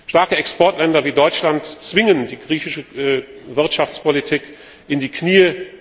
Starke Exportländer wie Deutschland zwingen die griechische Wirtschaftspolitik in die Knie.